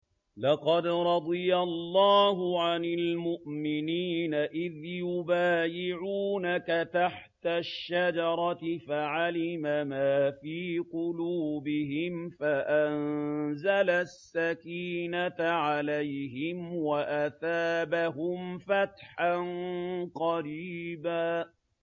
۞ لَّقَدْ رَضِيَ اللَّهُ عَنِ الْمُؤْمِنِينَ إِذْ يُبَايِعُونَكَ تَحْتَ الشَّجَرَةِ فَعَلِمَ مَا فِي قُلُوبِهِمْ فَأَنزَلَ السَّكِينَةَ عَلَيْهِمْ وَأَثَابَهُمْ فَتْحًا قَرِيبًا